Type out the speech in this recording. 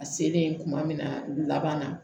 A selen kuma min na laban na